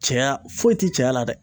Cɛya foyi ti cɛya la dɛ